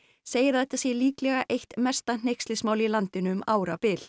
segir að þetta sé líklega eitt mesta hneykslismál í landinu um árabil